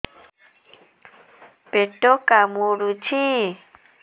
ପେଟ କାମୁଡୁଛି